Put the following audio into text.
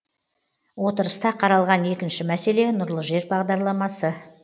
отырыста қаралған екінші мәселе нұрлы жер бағдарламасы